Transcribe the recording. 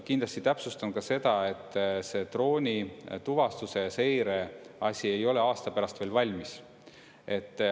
Kindlasti täpsustan ka seda, et see droonituvastuse seire asi ei ole aasta pärast veel valmis.